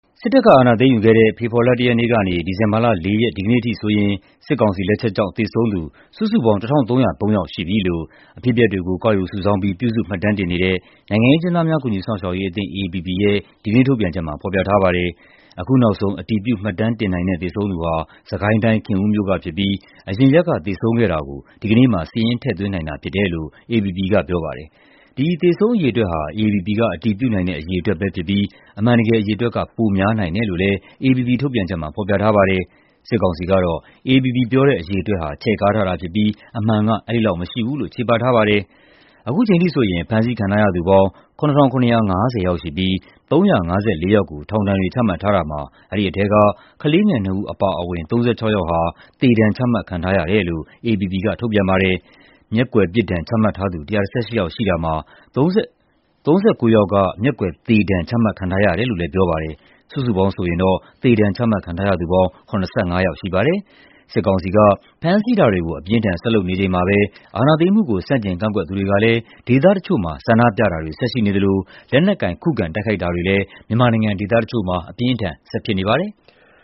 စစ်တပ်အာဏာသိမ်းယူခဲ့တဲ့ ဖေဖော်ဝါရီလ ၁ ရက်နေ့က ဒီဇင်ဘာလ ၄ ရက် ဒီကနေ့အထိဆိုရင် စစ်ကောင်စီရဲ့ လက်ချက်ကြောင့် သေဆုံးသူ စုစုပေါင်း ၁,၃၀၃ ယောက်ရှိပြီလို့ အဖြစ်အပျက်တွေကို ကောက်ယူစုဆောင်းပြီး ပြုစုမှတ်တမ်းတင်နေတဲ့ နိုင်ငံရေးအကျဉ်းသားများ ကူညီစောင့်ရှောက်ရေးအသင်း (AAPP) ရဲ့ ဒီကနေ့ ထုတ်ပြန်ချက်မှာ ဖော်ပြထားပါတယ်။ အခုနောက်ဆုံး အတည်ပြု မှတ်တမ်းတင်နိုင်တဲ့ သေဆုံးသူဟာ စစ်ကိုင်းတိုင်း၊ ခင်ဦးမြို့ကဖြစ်ပြီး အရင်ရက်က သေဆုံးခဲ့တာကို ဒီကနေ့မှာ စာရင်းထည့်သွင်းနိုင်တာ ဖြစ်တယ်လို့ AAPP က ပြောပါတယ်။ ဒီသေဆုံးအရေအတွက်ဟာ AAPP က အတည်ပြုနိုင်တဲ့ အရေအတွက်ပဲဖြစ်ပြီး အမှန်တကယ် အရေအတွက်က ပိုများနိုင်တယ်လို့ AAPP ထုတ်ပြန်ချက်မှာ ဖော်ပြထားပါတယ်။ စစ်ကောင်စီကတော့ AAPP ရဲ့ အရေအတွက်ဟာ ချဲ့ကားထားတာဖြစ်ပြီး အမှန်က အဲဒီလောက်မရှိဘူးလို့ ချေပထားပါတယ်။ အခုချိန်ထိဆိုရင် ဖမ်းဆီးခံထားရသူပေါင်း ၇,၇၅၀ ယောက်ရှိပြီး ၃၅၄ ယောက်ကို ထောင်ဒဏ်တွေ ချမှတ်ထားတာမှာ အဲဒီထဲက ကလေးငယ် ၂ ဦး အပါအဝင် ၃၆ ယောက်ဟာ သေဒဏ်ချမှတ်ခံထားရတယ်လို့ AAPP က ထုတ်ပြန်ပါတယ်။ မျက်ကွယ်ပြစ်ဒဏ် ချမှတ်ထားသူ ၁၁၈ ယောက်ရှိတာမှာ ၃၉ ယောက်က မျက်ကွယ်သေဒဏ် ချမှတ်ခံထားရတယ်လို့လည်း ပြောပါတယ်။ စုစုပေါင်းဆိုရင် သေဒဏ်ချမှတ်ခံထားရသူပေါင်း ၇၅ ယောက်ရှိပါတယ်။ စစ်ကောင်စီက ဖမ်းဆီးတာတွေကို အပြင်းအထန် ဆက်လုပ်နေချိန်မှာပဲ အာဏာသိမ်းမှုကို ဆန့်ကျင်ကန့်ကွက်သူတွေကလည်း ဒေသတချို့မှာ ဆန္ဒပြတာတွေ ဆက်ရှိနေသလို လက်နက်ကိုင် ခုခံတိုက်ခိုက်တာတွေလည်း မြန်မာနိုင်ငံ ဒေသတချို့မှာ ဆက်ဖြစ်နေပါတယ်။